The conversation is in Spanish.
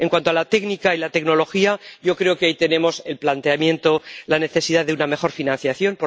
En cuanto a la técnica y la tecnología, yo creo que ahí tenemos el planteamiento, la necesidad de una mejor financiación.